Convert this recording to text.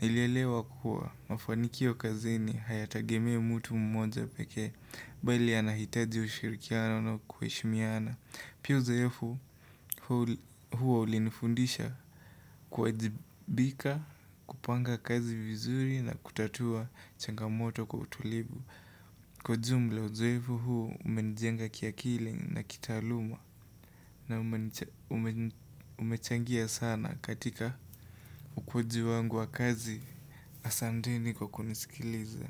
Nilielewa kuwa mafanikio kazini hayatagemei mtu mmoja pekee Bali yanahitaji ushirikiano na kuheshimiana Pia uzoefu huo ulinifundisha kuwajibika, kupanga kazi vizuri na kutatua changamoto kwa utulivu Kwa jumla uzoefu huo umenijenga kiakili na kitaaluma na umechangia sana katika ukuwaji wangu wa kazi Asanteni kwa kunisikiliza.